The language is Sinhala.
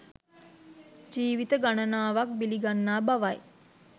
ජීවිත ගණනාවක් බිලි ගන්නා බවයි